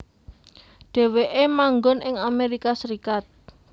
Dheweke manggon ing Amerika Serikat